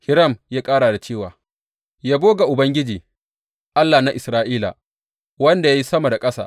Hiram ya ƙara da cewa, Yabo ga Ubangiji, Allah na Isra’ila, wanda ya yi sama da ƙasa!